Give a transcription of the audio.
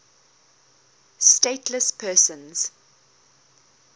stateless persons